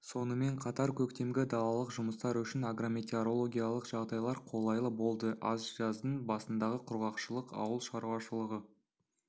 сонымен қатар көктемгі далалық жұмыстар үшін агрометеорологиялық жағдайлар қолайлы болды ал жаздың басындағы құрғақшылық ауыл шаруашылығы